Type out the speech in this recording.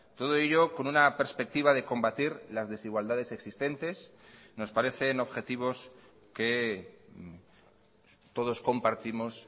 todo ello con una perspectiva de combatir las desigualdades existentes nos parecen objetivos que todos compartimos